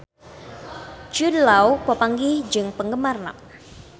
Jude Law papanggih jeung penggemarna